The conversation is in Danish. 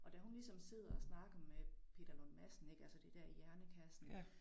Og da hun ligesom sidder og snakker med Peter Lund Madsen ik altså det der hjernekassen